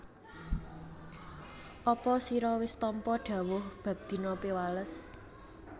Apa sira wis tampa dhawuh bab dina Piwales